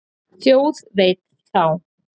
Þjóð veit þá.